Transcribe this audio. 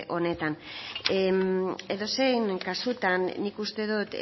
honetan edozein kasutan nik uste dut